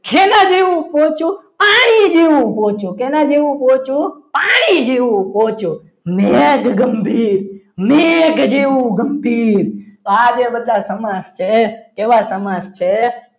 પાણી જેવું પોચું પાણી જેવું પોચું કેના જેવું પહોંચવું પાણી જેવું પહોંચવું નેદ ગંભીર મેઘ જેવું ગંભીર તો આ બધા જે સમાસ છે એવા સમાજ છે.